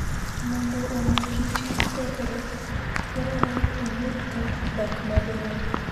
Mondo omi kich kik kethre, dwarore ni oyud kar dak maber.